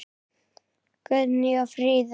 Guðný og Fríða.